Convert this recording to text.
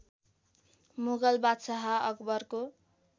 मुगल बादशाह अकबरको